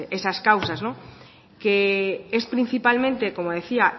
esas causas no que es principalmente como decía